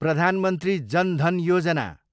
Pradhan Mantri Jan Dhan Yojana